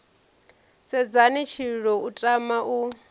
sedzheni tshililo u tama u